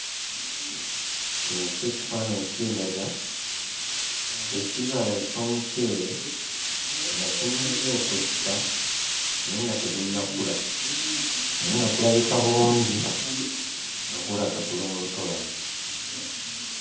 Kino kyo ekifaananyi kindaga ekibala eky'omuceere nga kimaze okussa naye nga tegunnakula naye nga kulabika bulungi nga gulaga guli mu lutobazi.